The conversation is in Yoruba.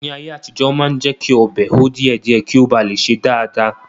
Ní ayé àtijọ́, Wọ́n máa ń jẹ́kí ọbẹ̀ hó díẹ̀ díẹ̀ kí ó ba lè sè dáadáa